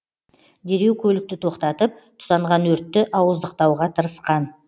дереу көлікті тоқтатып тұтанған өртті ауыздықтауға тырысқан